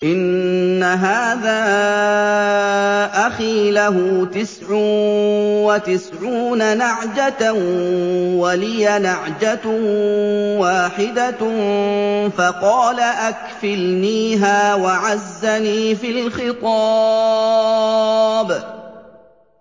إِنَّ هَٰذَا أَخِي لَهُ تِسْعٌ وَتِسْعُونَ نَعْجَةً وَلِيَ نَعْجَةٌ وَاحِدَةٌ فَقَالَ أَكْفِلْنِيهَا وَعَزَّنِي فِي الْخِطَابِ